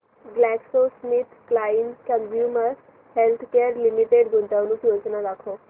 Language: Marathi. ग्लॅक्सोस्मिथक्लाइन कंझ्युमर हेल्थकेयर लिमिटेड गुंतवणूक योजना दाखव